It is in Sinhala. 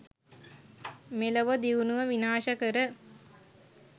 මෙලොව දියුණුව විනාශ කර